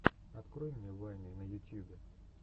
открой мне вайны на ютьюбе